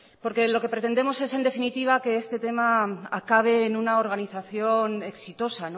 porque lo que pretendemos es en definitiva es que este tema acabe en una organización exitosa